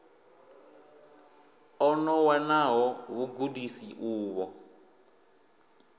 o no wanaho vhugudisi uvho